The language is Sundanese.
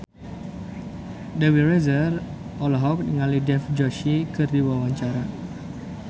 Dewi Rezer olohok ningali Dev Joshi keur diwawancara